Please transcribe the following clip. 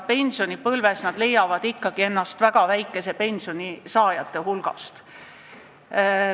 Pensionipõlves leiavad nad ennast ikkagi väga väikese pensioni saajate hulgast.